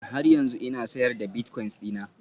Ee, har yanzu ina sayar da bilitcoins dina